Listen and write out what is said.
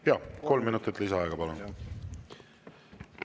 Jaa, kolm minutit lisaaega, palun!